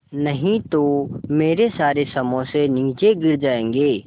नहीं तो मेरे सारे समोसे नीचे गिर जायेंगे